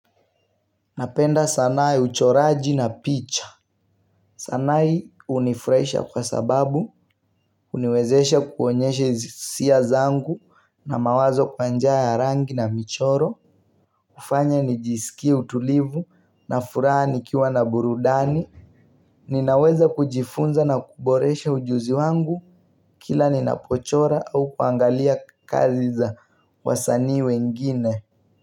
Napenda sanaa ya uchoraji na picha sanaa hii hunifurahisha kwa sababu Huuniwezesha kuonyeshe hisia zangu na mawazo kwa njia ya rangi na michoro kufanya nijisikie utulivu na furaha nikiwa na burudani Ninaweza kujifunza na kuboresha ujuzi wangu Kila ninapochora au kuangalia kazi za wasanii wengine.